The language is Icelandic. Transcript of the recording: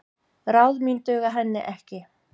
Ráð mín duga henni ekki.